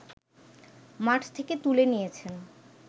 মাঠ থেকে তুলে নিয়েছেন